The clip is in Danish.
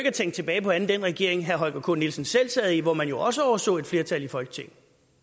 at tænke tilbage på andet end den regering herre holger k nielsen selv sad i hvor man jo også overså et flertal i folketinget